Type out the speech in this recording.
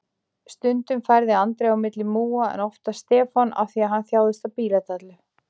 Stundum færði Andri á milli múga, en oftast Stefán af því hann þjáðist af bíladellu.